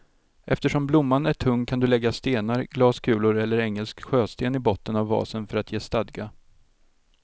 Eftersom blomman är tung kan du lägga stenar, glaskulor eller engelsk sjösten i botten av vasen för att ge stadga.